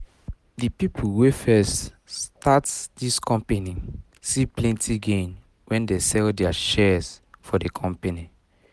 the people wey first um start um this company see plenty gain when they sell their shares for the company